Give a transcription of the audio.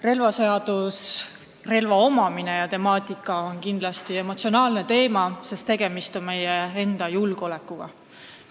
Relvaseadus ja relva omamine on kindlasti emotsionaalne teema, sest tegemist on meie enda julgeolekuga.